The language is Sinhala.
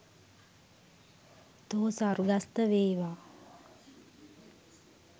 තෝ ස්වර්ගස්ථ වේවා.